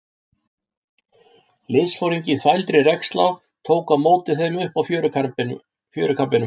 Liðsforingi í þvældri regnslá tók á móti þeim uppi á fjörukambinum.